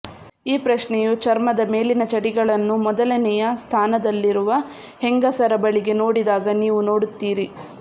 ಈ ಪ್ರಶ್ನೆಯು ಚರ್ಮದ ಮೇಲಿನ ಚಡಿಗಳನ್ನು ಮೊದಲನೆಯ ಸ್ಥಾನದಲ್ಲಿರುವ ಹೆಂಗಸರ ಬಳಿಗೆ ನೋಡಿದಾಗ ನೀವು ನೋಡುತ್ತೀರಿ